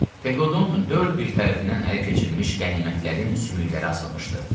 Pekodun dörd bir tərəfindən ələ keçirilmiş qənimətlərin sümükləri asılmışdı.